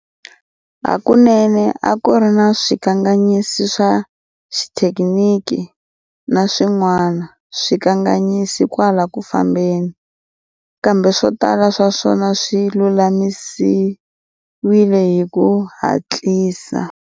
Hakunene a ku ri na swikanganyisi swa xithekiniki na swin'wana swikanganyisi kwala ku fambeni, kambe swo tala swa swona swi lulamisiwile hi ku hatlisa.